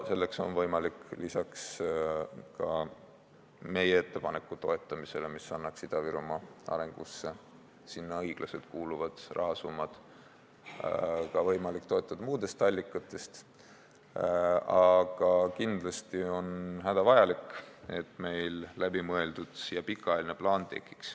Selleks on võimalik lisaks meie ettepaneku toetamisele, mis annaks Ida-Virumaa arengusse sinna õiglaselt kuuluvad rahasummad, toetada piirkonda muudest allikatest, aga on hädavajalik, et tekiks läbimõeldud ja pikaajaline plaan.